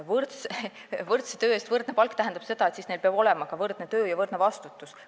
Võrdse töö eest võrdne palk tähendab seda, et siis peab olema ka võrdne töö ja võrdne vastutus.